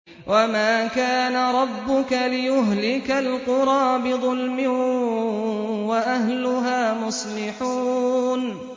وَمَا كَانَ رَبُّكَ لِيُهْلِكَ الْقُرَىٰ بِظُلْمٍ وَأَهْلُهَا مُصْلِحُونَ